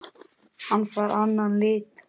Hann fær annan lit.